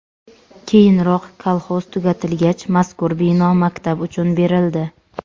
Keyinroq kolxoz tugatilgach, mazkur bino maktab uchun berildi.